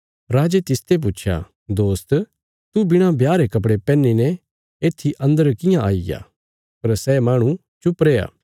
राजे तिसते पुच्छया दोस्त तू बिणा ब्याह रे कपड़े पैहने येत्थी अन्दर कियां आईग्या पर सै माहणु चुप रैया